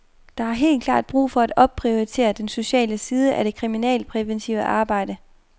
Der er helt klart brug for at opprioritere den sociale side af det kriminalpræventive arbejde.